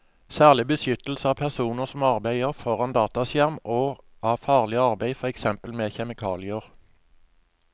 Særlig beskyttelse av personer som arbeider foran dataskjerm og av farlig arbeid, for eksempel med kjemikalier.